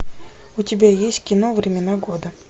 у тебя есть кино времена года